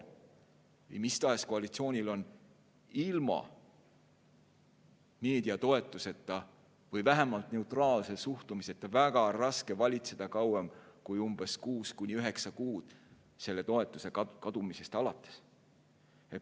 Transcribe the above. Mis tahes koalitsioonil on ilma meedia toetuseta või vähemalt neutraalse suhtumiseta väga raske valitseda kauem kui kuus kuni üheksa kuud selle toetuse kadumisest alates.